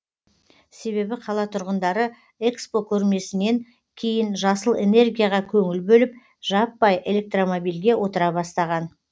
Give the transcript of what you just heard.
себебі қала тұрғындары экспо көрмесінен кейін жасыл энергияға көңіл бөліп жаппай электромобильге отыра бастаған